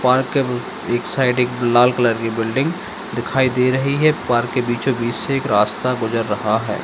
Park के एक side एक लाल कलर की बिल्डिंग दिखाई दे रही है पार्क के बीच-बीच से एक रास्ता गुजर रहा है।